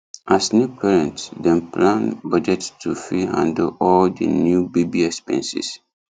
as new parents dem plan budget to fit handle all the new baby expenses